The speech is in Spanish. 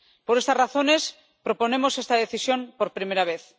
Por estas razones, proponemos esta decisión por primera vez.